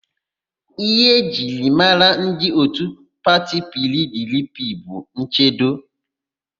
Íhé e ji mara ndị òtù pati PIiDIiPIi bụ nchendo.